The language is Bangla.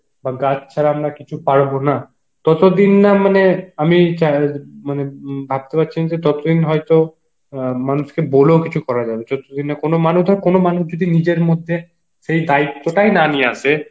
বা গাছ ছাড়া আমরা কিছু পারবো না, ততদিন না মানে আমি চাই মানে ততোদিন হয়েত অ্যাঁ মানুষ কে হলেও কিছু করা যাবে না কোন মানুষ যার কোন মানুষ যদি নিজের মধ্যে সেই দায়িত্বটাই না নিয়ে আসে